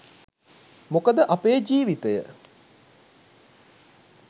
මොකද අපේ ජීවිතය